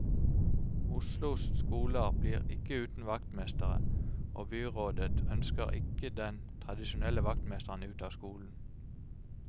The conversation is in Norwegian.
Oslos skoler blir ikke uten vaktmestere, og byrådet ønsker ikke den tradisjonelle vaktmesteren ut av skolen.